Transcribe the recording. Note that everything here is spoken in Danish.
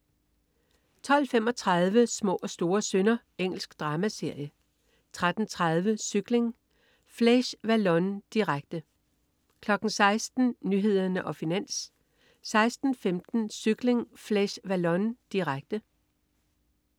12.35 Små og store synder. Engelsk dramaserie 13.30 Cykling: Flèche Wallonne, direkte 16.00 Nyhederne og Finans 16.15 Cykling: Flèche Wallonne, direkte